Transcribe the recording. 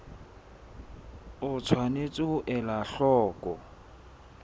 o tshwanetse ho ela hloko